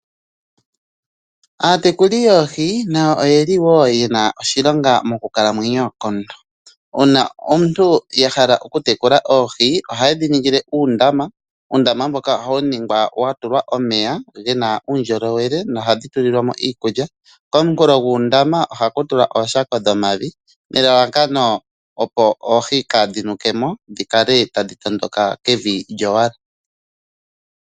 Aatekuli yoohi nayo oyeli woo yena oshilonga monkalamwenyo komuntu. Uuna aantu yahala okutekula oohi ohayedhi ningile uundama. Uundama mboka ohawu ningwa watulwa omeya gena uundjolowele no ohadhi tulilwamo iikulya koonkulo dhoondama ohaku tulwa ooshako dhomavi nelalakano opo oohi kadhinukemo dhikale tadhi tondoka kevi lyowala.